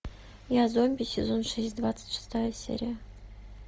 я зомби сезон шесть двадцать шестая серия